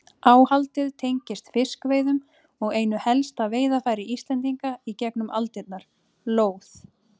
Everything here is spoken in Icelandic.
Áhaldið tengist fiskveiðum og einu helsta veiðarfæri Íslendinga í gegnum aldirnar, lóð.